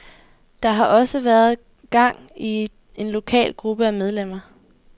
Der har også været gang i en lokal gruppe af medlemmer.